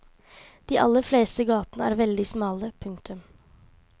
De aller fleste gatene er veldig smale. punktum